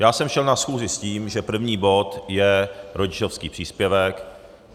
Já jsem šel na schůzi s tím, že první bod je rodičovský příspěvek.